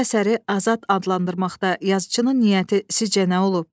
Bu əsəri Azad adlandırmaqda yazıçının niyyəti sizcə nə olub?